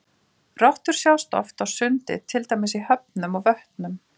Rottur sjást oft á sundi til dæmis í höfnum og vötnum.